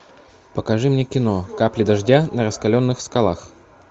покажи мне кино капли дождя на раскаленных скалах